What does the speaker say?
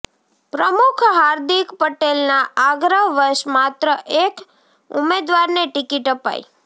પ્રમુખ ર્હાિદક પટેલના આગ્રહવશ માત્ર એક ઉમેદવારને ટીકિટ અપાઈ